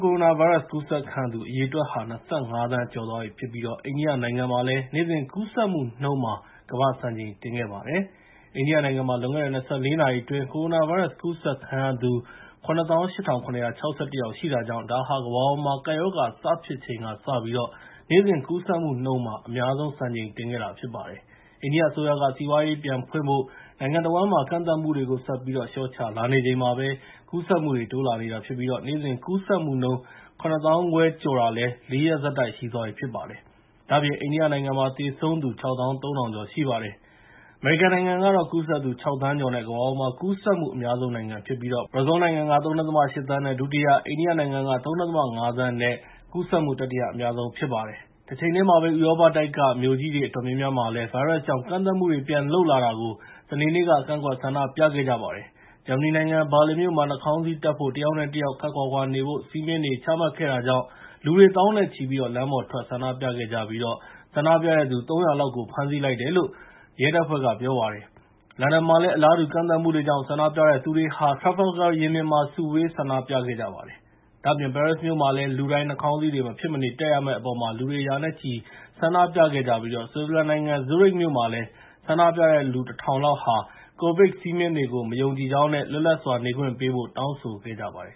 ကိုရိုနာဗိုင်းရပ်စ် ကူးစက်ခံရသူ အရေအတွက်ဟာ ၂၅ သန်းကျော်သွားပြီဖြစ်ပြီး အိန္ဒိယနိုင်ငံမှာလည်း နေ့စဉ်ကူးစက်မှုနှုန်းမှာ ကမ္ဘာ့စံချိန် တင်ခဲ့ပါတယ်။ အိန္ဒိယနိုင်ငံမှာ လွန်ခဲ့တဲ့ ၂၄ နာရီအတွင်း ကိုရိုနာဗိုင်းရပ်စ် ကူးစက်ခံရသူ ၇၈,၇၆၁ ယောက်ရှိတာကြောင့် ဒါဟာ ကမ္ဘာပေါ်မှာ ကပ်ရောဂါစဖြစ်ချိန်ကစပြီး နေ့စဉ်ကူးစက်မှုနှုန်းမှာ အများဆုံး စံချိန်တင်ခဲ့တာ ဖြစ်ပါတယ်။ အိန္ဒိယအစိုးရက စီးပွားရေးပြန်ဖွင့်ဖို့် နိုင်ငံတဝန်းမှာ ကန့်သတ်မှုတွေကို ဆက်ပြီး လျှော့ချလာနေချိန်မှာပဲ ကူးစက်မှုတွေ တိုးလာနေတာဖြစ်ပြီး နေ့စဉ်ကူးစက်မှုနှုန်း ၇ သောင်းခွဲကျော်တာ ၄ ရက်ဆက်တိုက် ရှိသွားပါပြီ။ ဒါ့အပြင် အိန္ဒိယနိုင်ငံမှာ သေဆုံးသူ ၆၃,၀၀၀ ကျော်ရှိပါတယ်။ အမေရိကန်နိုင်ငံကတော့ ကူးစက်သူ ၆ သန်းကျော်နဲ့ ကမ္ဘာပေါ်မှာ ကူးစက်မှု အများဆုံးဖြစ်ပြီး ဘရာဇီးလ်နိုင်ငံက ၃.၈ သန်းနဲ့ ဒုတိယ၊ အိန္ဒိယနိုင်ငံက ၃.၅ သန်းနဲ့ ကူးစက်မှု တတိယအများဆုံး ဖြစ်ပါတယ်။ တချိန်တည်းမှာပဲ ဥရောပတိုက်က မြို့ကြီးတွေ အတော်များများမှာလည်း ဗိုင်းရပ်စ်ကြောင့် ကန့်သတ်မှုတွေ ပြန်လုပ်လာတာကို စနေနေ့က ကန့်ကွက် ဆန္ဒပြခဲ့ကြပါတယ်။ ဂျာမနီနိုင်ငံ ဘာလင်မြို့မှာ နှာခေါင်းစည်းတပ်ဖို့ တယောက်နဲ့တယောက် ခပ်ခွာခွာနေဖို့ စည်းမျဉ်းတွေ ချမှတ်ခဲ့တာကြောင့် လူတွေ သောင်းနဲ့ချီပြီး လမ်းပေါ်ထွက် ဆန္ဒပြခဲ့ကြပြီး ဆန္ဒပြတဲ့သူ ၃၀၀ လောက်ကို ဖမ်းဆီးလိုက်တယ်လို့ ရဲတပ်ဖွဲ့က ပြောပါတယ်။ လန်ဒန်မှာလည်း အလားတူ ကန့်သတ်မှုတွေကြောင့် ဆန္ဒပြတဲ့သူတွေဟာ Trafalgar ရင်ပြင်မှာ စုဝေး ဆန္ဒပြခဲ့ကြပါတယ်။ ဒါ့အပြင် ပဲရစ်မြို့မှာလည်း လူတိုင်း နှာခေါင်းစည်းတွေ မဖြစ်မနေ တပ်ရမယ့်အပေါ် လူတွေ ရာနဲ့ချီ ဆန္ဒပြခဲ့ကြပြီး ဆွစ်ဇာလန်နိုင်ငံ ဇူးရစ်မြို့မှာလည်း ဆန္ဒပြတဲ့သူ ၁,၀၀၀ လောက်က COVID စည်းမျဉ်းတွေကို မယုံကြည်ကြောင်းနဲ့ လွတ်လပ်စွာ နေခွင့်ပေးဖို့ တောင်းဆိုခဲ့ကြပါတယ်